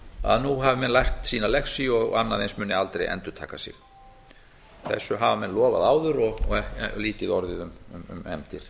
að nú hafi menn lært sína lexíu og annað eins muni aldrei endurtaka sig þessu hafa menn lofað áður og lítið orðið um efndir